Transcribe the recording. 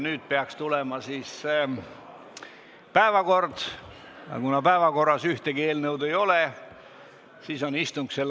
Nüüd peaks tulema päevakorrapunktide arutelu, aga kuna päevakorras ühtegi eelnõu ei ole, siis on istung lõppenud.